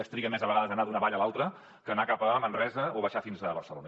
es triga més a vegades a anar d’una vall a l’altra que a anar cap a manresa o baixar fins a barcelona